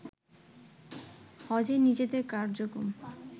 হজে নিজেদের কার্যক্রম